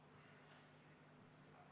Lugupeetud Riigikogu!